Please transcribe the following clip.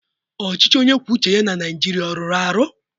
Ọchịchị onye kwuo uche ya na Naịjirịa ọ rụrụ arụ?